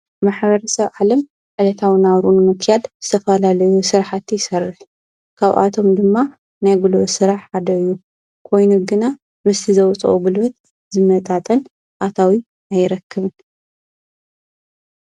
ማኅበር ሰብ ዓለም ዕለታው ናውሩን ምኪያድ ዝተፋላልዩ ሥራሕቲ ይሠርሕ ካብኣቶም ድማ ናይግሎ ሥራሕ ሓደዩ ኮይኑ ግና ምስቲ ዘወፅኦ ብልበት ዝመጣጠል ኣታዊ ኣይረክብን።